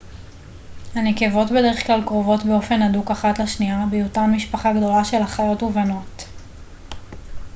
הנקבות בדרך כלל קרובות באופן הדוק אחת לשנייה בהיותן משפחה גדולה של אחיות ובנות